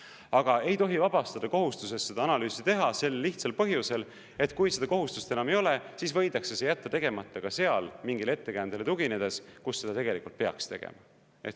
Aga ei tohi vabastada kohustusest seda analüüsi teha, sel lihtsal põhjusel, et kui seda kohustust enam ei ole, siis võidakse see jätta tegemata ka seal, mingile ettekäändel tuginedes, kus seda tegelikult peaks tegema.